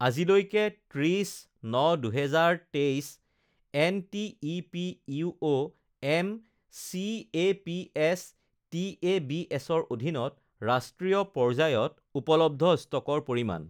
আজিলৈকে ৩০.০৯.২০২৩ এনটিইপি ইউঅ এম চিএপিএছ টিএবিএছৰ অধীনত ৰাষ্ট্ৰীয় পৰ্যায়ত উপলব্ধ ষ্টকৰ পৰিমাণ